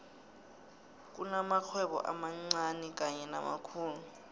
kunamakghwebo amancani kanye namakhulu